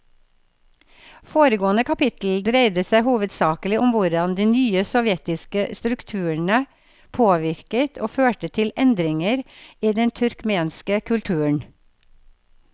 Foregående kapittel dreide seg hovedsakelig om hvordan de nye sovjetiske strukturene påvirket og førte til endringer i den turkmenske kulturen.